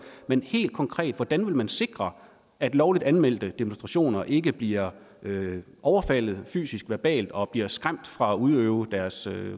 men helt konkret hvordan vil man sikre at lovligt anmeldte demonstrationer ikke bliver overfaldet fysisk verbalt og at bliver skræmt fra at udøve deres